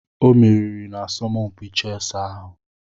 O meriri n'asọmpi chẹsi ahụ.